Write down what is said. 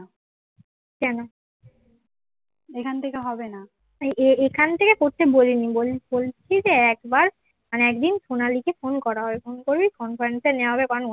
আর একদিন সোনালী কে ফোন করা হবে ফোন করবি conference নেওয়া হবে কারণ